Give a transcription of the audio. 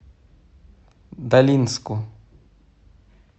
долинску